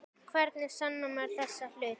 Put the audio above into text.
Hvernig sannar maður þessa hluti?